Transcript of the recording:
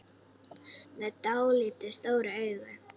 Með dáldið stór augu.